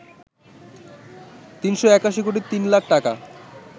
৩৮১ কোটি ৩ লাখ টাকা